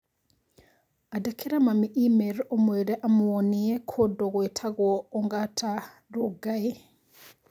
Andĩkĩra mami i-mīrū ũmwĩre amũone kũndũ gũitagwo ongata rongai